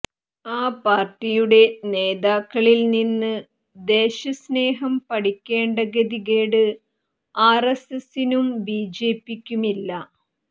ആ പാർട്ടിയുടെ നേതാക്കളിൽ നിന്ന് ദേശസ്നേഹം പഠിക്കേണ്ട ഗതികേട് ആർഎസ്എസിനും ബിജെപിക്കുമില്ല